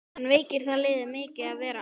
En veikir það liðið mikið að vera án hennar?